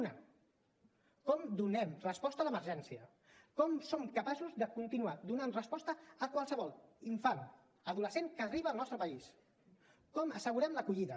una com donem resposta a l’emergència com som capaços de continuar donant resposta a qualsevol infant o adolescent que arriba al nostre país com assegurem l’acollida